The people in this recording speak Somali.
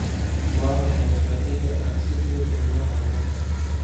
waa maxay qeexida aan si buuxda loo horumarin